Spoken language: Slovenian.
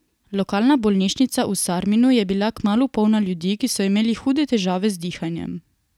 Lokalna bolnišnica v Sarminu je bila kmalu polna ljudi, ki so imeli hude težave z dihanjem.